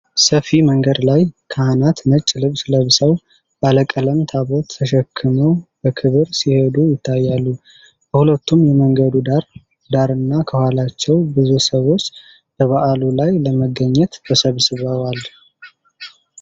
ሰፊ መንገድ ላይ ብዙ ካህናት ነጭ ልብስ ለብሰው ባለቀለም ታቦት ተሸክመው በክብር ሲሄዱ ይታያሉ። በሁለቱም የመንገዱ ዳር ዳርና ከኋላቸው ብዙ ሰዎች በበዓሉ ላይ ለመገኘት ተሰብስበዋል።